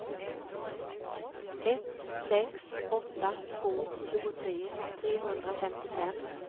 ett sex åtta två tjugotre trehundrafemtiofem